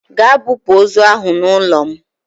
Gaa bupu ozu ahụ n'ụlọ m!